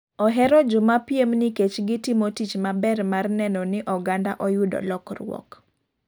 Ohero joma piem nikech giktimo tich maber man neno ni oganda oyudo lokruok